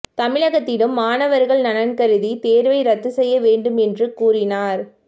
தமிழகத்திலும் மாணவர்கள் நலன் கருதி தேர்வை ரத்து செய்ய வேண்டும் என்று கூறினார்